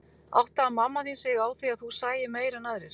Áttaði mamma þín sig á því að þú sæir meira en aðrir?